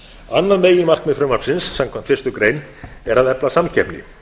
annað meginmarkmið frumvarpsins samkvæmt fyrstu grein er að efla samkeppni